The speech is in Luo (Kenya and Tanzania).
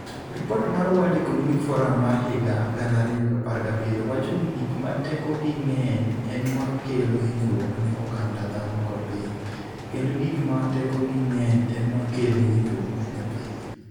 Ripot mar World Economic Forum mar higa 2017 wacho ni gik ma tekogi ng'eny e ma kelo hinyruok ne oganda dhano kod piny, kendo gik ma tekogi ng'eny e ma kelo hinyruok ne piny.